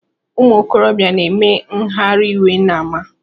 Ụmụ ikorobịa na-eme ngharaiwe n’ama